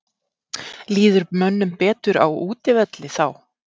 Líður mönnum betur á útivelli þá?